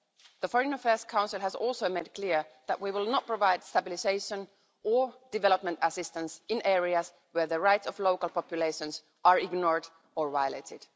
The Foreign Affairs Council has also made clear that we will not provide stabilisation or development assistance in areas where the rights of local populations are ignored or violated.